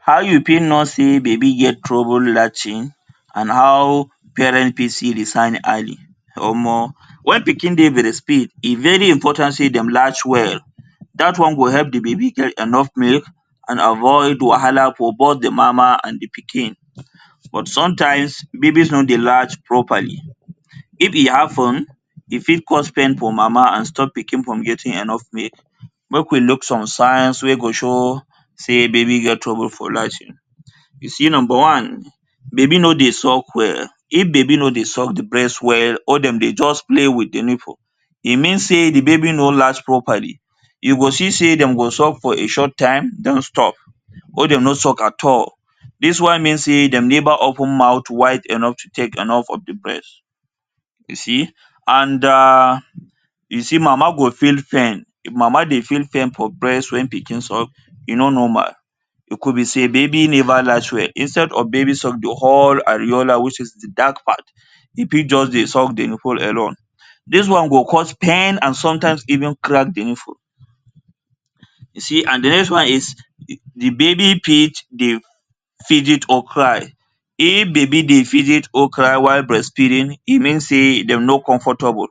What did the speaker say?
How you fit know say baby get trouble latching and how parents fit see the sign early. Omo! When pikin dey breastfeed e very important say them latch well that one go help the baby get enough milk and avoid wahala forboth the mama and the pikin but sometimes babies no dey latch properly. If e happen e fit cause pain for mama and stop pikin from getting enough milk. Make we look some signs wey go show say baby get trouble for latching. You see, number one, if baby no dey suck well. If baby no dey suck the breast well or dem dey just play with the nipple e mean say the baby no latch properly. You go see say dem go suck for a short time then stop or dem no suck at all dis one mean say dem never open mouth wide enough to take enough of the breast. You see! And um you see mama go feel pain and if the mama dey feel pain for the breast when pikin suck e no normal e ku be say baby never latch well instead of baby suck the whole aerola which is the dark part e fit just dey suck the nipple alone dis one go cause pain and sometimes even crack the nipple. You see! And the next one is the baby fit dey fidget or cry. If baby dey fidget or cry e mean say dey no comfortable.